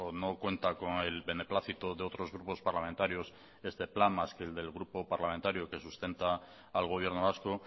no cuenta con el beneplácito de otros grupos parlamentarios este plan más que el del grupo parlamentario que sustenta al gobierno vasco